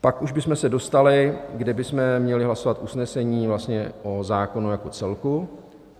Pak už bychom se dostali, kdy bychom měli hlasovat usnesení vlastně o zákonu jako celku.